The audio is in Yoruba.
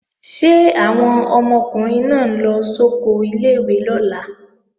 Ṣé àwọn ọmọkùnrin náà ń lọ sóko ilé-ìwé lọ́la?